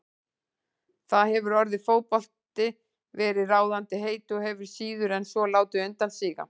Þar hefur orðið fótbolti verið ráðandi heiti og hefur síður en svo látið undan síga.